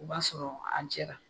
O b'a sɔrɔ an jɛla.